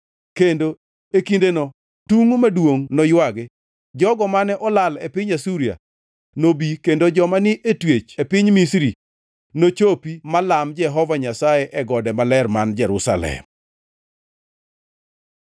Kendo e kindeno tungʼ maduongʼ noywagi. Jogo mane olal e piny Asuria nobi kendo joma ni e twech e piny Misri nochopi ma lam Jehova Nyasaye e gode maler man Jerusalem.